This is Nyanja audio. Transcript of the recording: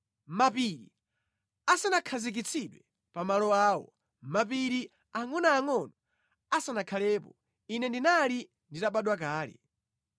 Mapiri asanakhazikitsidwe pa malo awo, mapiri angʼonoangʼono asanakhalepo, ine ndinali nditabadwa kale,